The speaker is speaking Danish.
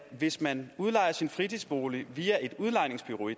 hvis man udlejer sin fritidsbolig via et udlejningsbureau er